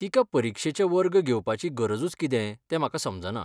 तिका परीक्षेचे वर्ग घेवपाची गरजूच कितें तें म्हाका समजना.